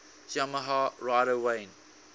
yamaha rider wayne